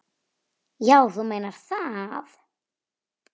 Já, þú meinar það.